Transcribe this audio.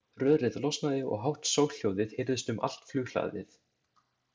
Rörið losnaði og hátt soghljóðið heyrðist um allt flughlaðið.